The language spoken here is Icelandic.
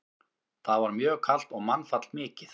Þar var mjög kalt og mannfall mikið.